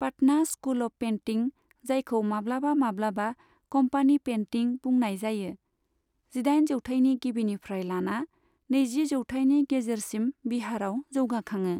Patna school of painting, जायखौ माब्लाबा माब्लाबा 'कम्पानि पेन्टिं' बुंनाय जायो, जिदाइन जौथायनि गिबिनिफ्राय लाना नैजि जौथायनि गेजेरसिम बिहारआव जौगाखाङो।